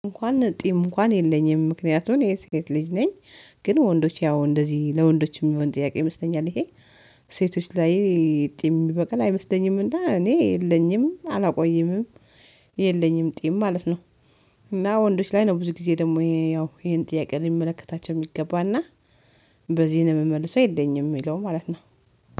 እንኳን ጢም እንኳን የለኝም፤ ምክንያቱን የሴት ልጅ ነኝ፤ ግን ወንዶች ያው እንደዚህ ለወንዶችም የሚሆን ጥያቄ ይመስለኛል ይሄ፤ ሴቶች ላይ ጢም የሚበቃል አይመስለኝምና እኔ የለኝም አላቆይምም። የለኝም ጢም ማለት ነው እና ወንዶች ላይ ነው ብዙ ጊዜ ደግሞ ይሄን ጥያቄ ሊመለከታቸው የሚገባና በዚህ ነው የምመልሰው የለኝም የሚለው ማለት ነው።